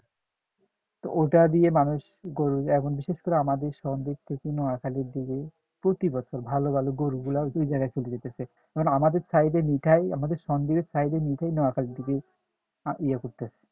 তো ওটা দিয়ে মানুষ গরু এখন বিশেষ করে আমাদের সন্দীপ কিছু নোয়াখালীর দিকে প্রতিবছর ভালো ভালো গরু গুলো ওই জায়গায় চলে যাইতেছে এখন আমাদের site এ মিঠাই আমাদের সন্দ্বীপের site এ মিঠাই নোয়াখালীর দিকে ইয়ে করতেছে